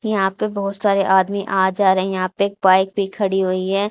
यहां पे बहोत सारे आदमी आ जा रहे हैं यहां पे पाइप भी खड़ी हुई है।